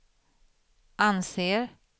anser